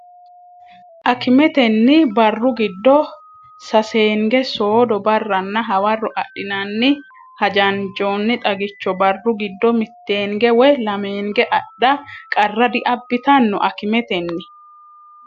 Akimetenni barru giddo saseenge soodo, barra nna hawarro adhinara hajanjoonni xagicho barru giddo mitteenge woy lameenge adha qarra diabbitanno Akimetenni.